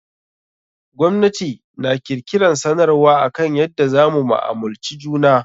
Gwamnati na kirkiran sanarwar akan yadda za mu mu'amulci juna.